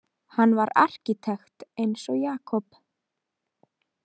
Hann var arkitekt eins og Jakob.